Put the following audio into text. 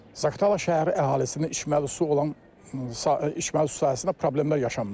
Zaqatala şəhəri əhalisinin içməli su olan içməli su sahəsində problemlər yaşanmışdır.